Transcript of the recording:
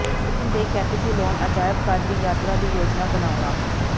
ਰੋਮ ਦੇ ਕੈਪੀਟਲੋਨ ਅਜਾਇਬ ਘਰ ਦੀ ਯਾਤਰਾ ਦੀ ਯੋਜਨਾ ਬਣਾਉਣਾ